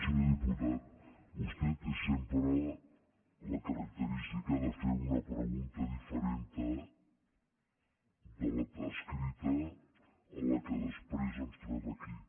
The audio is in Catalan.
senyor diputat vostè té sempre la característica de fer una pregunta diferent l’escrita de la que després ens trobem aquí